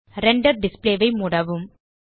render display ஐ மூடவும்